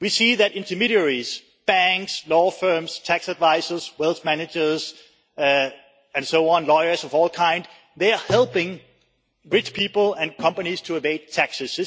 We see that intermediaries banks, law firms, tax advisers, wealth managers and so on, lawyers of all kinds they are helping rich people and companies to evade taxes.